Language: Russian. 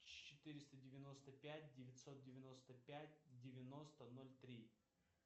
четыреста девяносто пять девятьсот девяносто пять девяносто ноль три